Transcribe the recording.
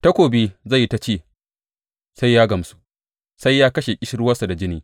Takobi zai yi ta ci sai ya gamsu, sai ya kashe ƙishirwansa da jini.